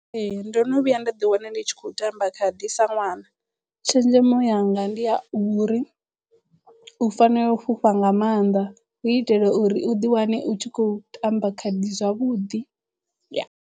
Ee ndo no vhuya nda ḓi wana ndi tshi khou tamba khadi sa ṅwana. Tshenzhemo yanga ndi ya uri u fanela u fhufha nga mannḓa hu itela uri u ḓiwane u tshi khou tamba khadi zwavhuḓi .